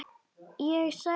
Ég sagði engum frá Viðari.